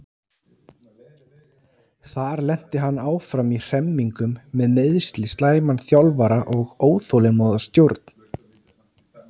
Þar lenti hann áfram í hremmingum með meiðsli, slæman þjálfara og óþolinmóða stjórn.